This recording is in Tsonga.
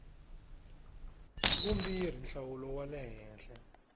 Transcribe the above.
vumbirhi nhlawulo wa le henhla